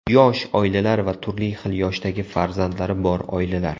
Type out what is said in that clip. Yosh oilalar va turli xil yoshdagi farzandlari bor oilalar.